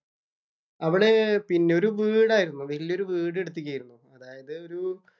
അവിടെ പിന്നെ ഒരു വീടായിരുന്നു. വലിയ ഒരു വീട് എടുത്തീക്കയായിരുന്നു. അതായത് ഒരു